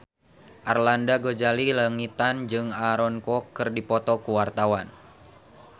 Arlanda Ghazali Langitan jeung Aaron Kwok keur dipoto ku wartawan